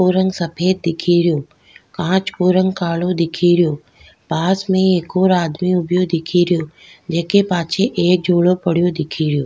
को रंग सफ़ेद दिखेरो कांच को रंग कालो दिखेरो पास में एक और आदमी उभियो दिखेरो जेके पाछे एक झोलो पड्यो दिखेरो।